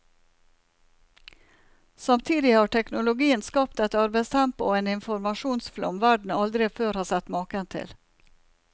Samtidig har teknologien skapt et arbeidstempo og en informasjonsflom verden aldri før har sett maken til.